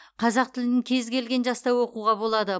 қазақ тілін кез келген жаста оқуға болады